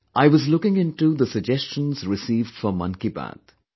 I was looking into the suggestions received for "Mann Ki Baat"